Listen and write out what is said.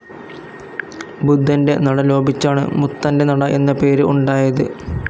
ബുദ്ധന്റെ നട ലോപിച്ചാണ് മുത്തന്റെ നട എന്ന പേര് ഉണ്ടായത്.